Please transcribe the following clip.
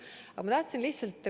Aga ma tahan öelda veel üht.